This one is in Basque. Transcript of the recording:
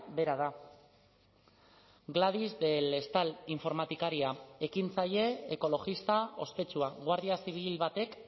bera da gladys del estal informatikaria ekintzaile ekologista ospetsua guardia zibil batek